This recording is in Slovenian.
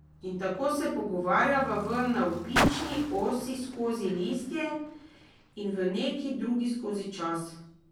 In tako se pogovarjava v navpični osi skozi listje in v neki drugi skozi čas.